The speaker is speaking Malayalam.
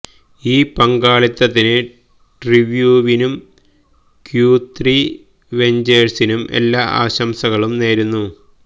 ഇൌ പങ്കാളിത്തത്തിന് ട്രീവ്യൂവിനും ക്യൂത്രീ വെഞ്ച്വഴ്സിനും എല്ലാ ആശംസകളും നേരുന്നു